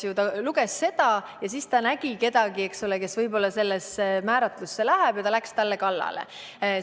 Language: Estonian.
Kas ta luges seda ja siis nägi kedagi, eks ole, kelle kohta see määratlus võib-olla käib, ja ta läks talle kallale?